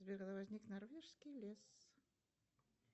сбер когда возник норвежский лес